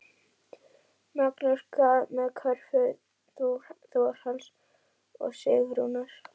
Magnús: Hvað með kröfu Þórhalls og Sigrúnar?